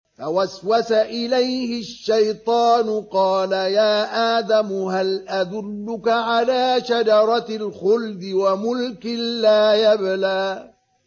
فَوَسْوَسَ إِلَيْهِ الشَّيْطَانُ قَالَ يَا آدَمُ هَلْ أَدُلُّكَ عَلَىٰ شَجَرَةِ الْخُلْدِ وَمُلْكٍ لَّا يَبْلَىٰ